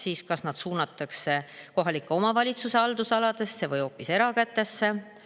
Kas need siis suunatakse kohaliku omavalitsuse haldusalasse või hoopis erakätesse?